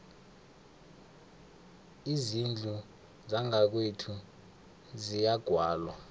izindlu zangakwethu ziyagwalwa